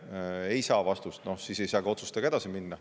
Kui see mure ei saa, siis ei saa ka otsustega edasi minna.